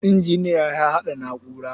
Injiniya ya haɗa na'ura.